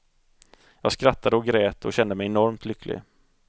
Jag skrattade och grät och kände mig enormt lycklig.